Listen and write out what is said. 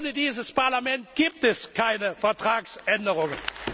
ihn ernst! Ohne dieses Parlament gibt es keine Vertragsänderungen!